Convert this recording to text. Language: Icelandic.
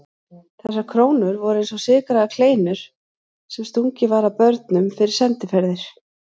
Þessar krónur voru eins og sykraðar kleinur sem stungið var að börnum fyrir sendiferðir.